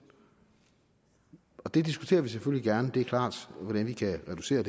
det diskuterer vi selvfølgelig gerne det er klart hvordan vi kan reducere